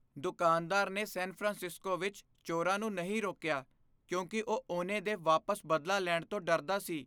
ਦੁਕਾਨਦਾਰ ਨੇ San Francisco ਵਿੱਚ ਚੋਰਾਂ ਨੂੰ ਨਹੀਂ ਰੋਕਿਆ ਕਿਉਂਕਿ ਉਹ ਉਹਨੇ ਦੇ ਵਾਪਸ ਬਦਲਾ ਲੈਣ ਤੋਂ ਡਰਦਾ ਸੀ।